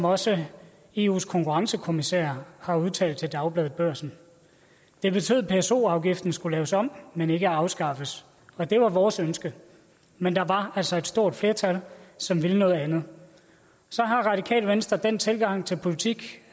også eus konkurrencekommissær har udtalt til dagbladet børsen det betød at pso afgiften skulle laves om men ikke afskaffes og det var vores ønske men der var altså et stort flertal som ville noget andet radikale venstre den tilgang til politik